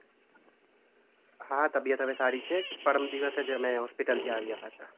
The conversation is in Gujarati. હા, તબિયત હવે સારી છે. પરમ દિવસે જ અમે હોસ્પિટલ થી આવ્યા પાછા.